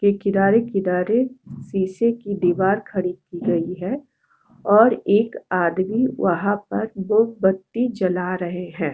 ये किनारे-किनारे शीशे की दीवार खड़ी की गई है और एक आदमी वहाँ पर मोमबत्ती जला रहें हैं ।